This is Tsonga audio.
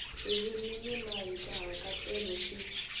ririmi ni mahikahatelo swi